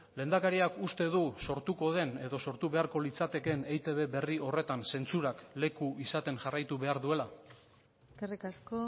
lehendakariak uste du sortuko den edo sortu beharko litzatekeen eitb berri horretan zentsurak leku izaten jarraitu behar duela eskerrik asko